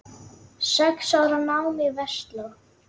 Sex ára nám í Versló.